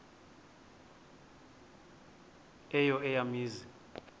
eyo eya mizi